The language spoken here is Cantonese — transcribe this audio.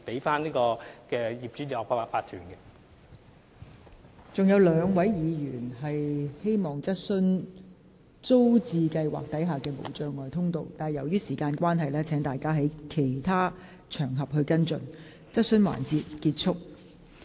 尚有兩位議員希望就提供無障礙通道進出租置屋邨的事宜提出補充質詢，但由於時間關係，請議員在其他場合跟進。